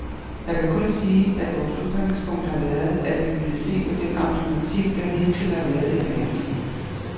Jeg kan kun sige, at vores udgangspunkt har været, at vi ville se på den automatik, der hidtil har været i behandlingen.